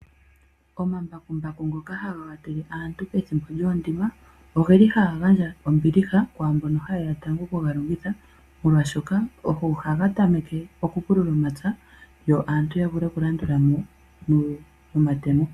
Omambakumbaku ngoka haga watele aantu pethimbo lyoondima, oge li haga gandja ombiliha kwaamboka ha yeya tango oku ga longitha, molwaashoka ogo haga tameke okupulula omapya, yo aantu ya vule okulandula mo nomatemo.